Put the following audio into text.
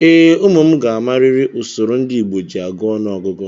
Ee, ụmụ m ga-amarịrị usoro ndị Igbo ji agụ ọnụọgụgụ.